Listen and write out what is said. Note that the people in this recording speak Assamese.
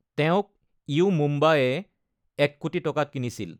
তেওঁক ইউ মুম্বা-এ ১ কোটি টকাত কিনিছিল।